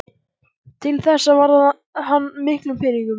Til þessa varði hann miklum peningum.